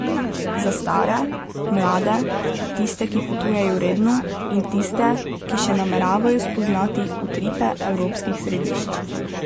Za stare, mlade, tiste, ki potujejo redno, in tiste, ki še nameravajo spoznati utripe evropskih središč.